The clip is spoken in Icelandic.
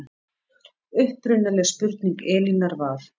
Upprunaleg spurning Elínar var